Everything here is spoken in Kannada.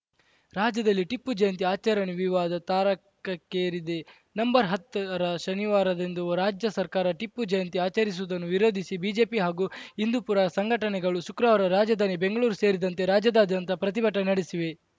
ರಾಜ್ಯದಲ್ಲಿ ಟಿಪ್ಪು ಜಯಂತಿ ಆಚರಣೆ ವಿವಾದ ತಾರಕಕ್ಕೇರಿದೆ ನಂಬರ್ಹತ್ತರ ಶನಿವಾರದಂದು ರಾಜ್ಯ ಸರ್ಕಾರ ಟಿಪ್ಪು ಜಯಂತಿ ಆಚರಿಸುವುದನ್ನು ವಿರೋಧಿಸಿ ಬಿಜೆಪಿ ಹಾಗೂ ಹಿಂದೂಪುರ ಸಂಘಟನೆಗಳು ಶುಕ್ರವಾರ ರಾಜಧಾನಿ ಬೆಂಗಳೂರು ಸೇರಿದಂತೆ ರಾಜ್ಯಾದ್ಯಂತ ಪ್ರತಿಭಟನೆ ನಡೆಸಿವೆ